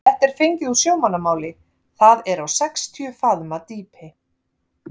Þetta er fengið úr sjómannamáli, það er á sextíu faðma dýpi.